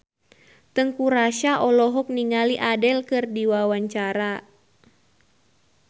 Teuku Rassya olohok ningali Adele keur diwawancara